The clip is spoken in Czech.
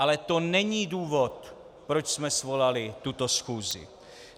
Ale to není důvod, proč jsme svolali tuto schůzi.